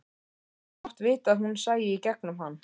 Hann hefði mátt vita að hún sæi í gegnum hann.